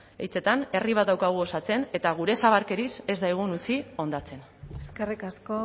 hitzetan herri bat daukagu osatzen eta gure zabarkeriz ez daigun utzi hondatzen eskerrik asko